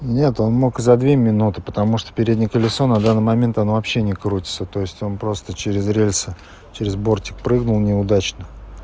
нет он мог и за две минуты потому что переднее колесо на данный момент оно вообще не крутится то есть он просто через рельсы через бортик прыгнул неудачно